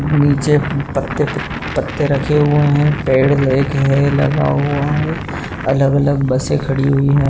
नीचे पत्ते पत्ते रखे हुए है। पेड़ लगा हुआ है। अलग-अलग बसे खड़ी हुई है।